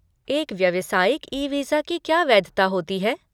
एक व्यवसायिक e visa की क्या वैधता होती है?